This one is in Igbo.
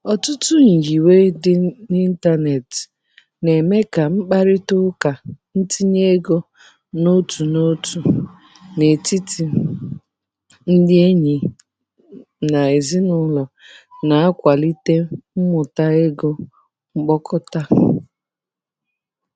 Ọtụtụ nyiwe dị n'ịntanetị na-eme ka mkparịta ụka ntinye ego otu n'otu n'etiti ndị enyi na ezinụlọ, na-akwalite mmuta ego mkpokọta.